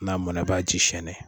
N'a mɔnɛ e b'a ji sɛnɛ